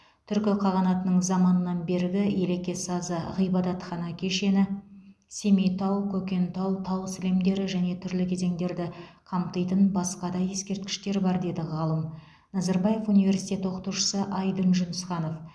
түркі қағанатының заманынан бергі елеке сазы ғибадатхана кешені семейтау көкентау тау сілемдері және түрлі кезеңдерді қамтитын басқа да ескерткіштер бар деді ғалым назарбаев университеті оқытушысы айдын жүнісханов